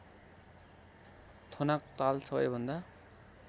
थोनाक ताल सबैभन्दा